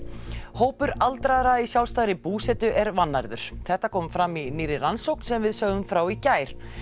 hópur aldraðra í sjálfstæðri búsetu er vannærður þetta kom fram í nýrri rannsókn sem við sögðum frá í gær